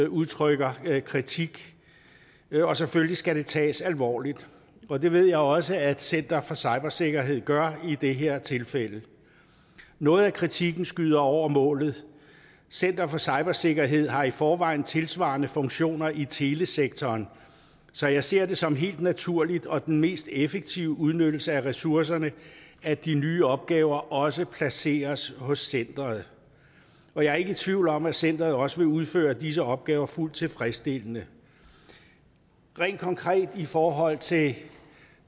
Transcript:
udtrykker kritik og selvfølgelig skal det tages alvorligt og det ved jeg også at center for cybersikkerhed gør i det her tilfælde noget af kritikken skyder over målet center for cybersikkerhed har i forvejen tilsvarende funktioner i telesektoren så jeg ser det som helt naturligt og den mest effektive udnyttelse af ressourcerne at de nye opgaver også placeres hos centeret og jeg er ikke i tvivl om at centeret også vil udføre disse opgaver fuldt tilfredsstillende rent konkret i forhold til